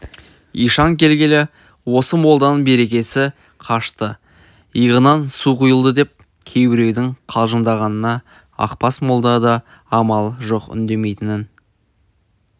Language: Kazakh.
ишан келгелі осы молданың берекесі қашты иығынан су құйылды деп кейбіреудің қалжыңдағанына ақбас молда да амалы жоқ үндемейтін